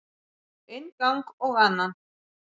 Inn gang og annan.